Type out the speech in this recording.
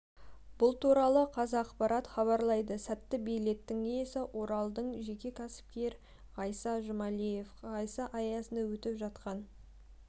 бұл туралы қазақпарат хабарлайды сәтті билеттің иесі оралдық жеке кәсіпкер ғайса жұмалиев ғайса аясында өтіп жатқан